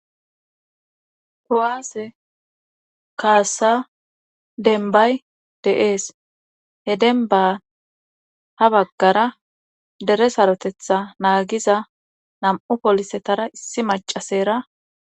kowaase kaasa denbay deees he denba ha baggara dere sarotetha naagiza nam7u polisetara issi macasera